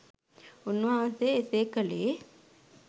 උන්වහන්සේ එසේ කළේ